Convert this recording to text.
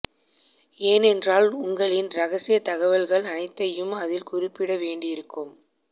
ஏனென்றால் உங்களின் ரகசிய தகவல்கள் அனைத்தையும் அதில் குறிப்பிட வேண்டியிருக்கும்